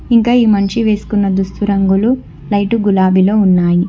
ఇంకా ఈ మంచి వేసుకున్న దుస్థిరంగులు లైట్ గులాబీలో ఉన్నాయి.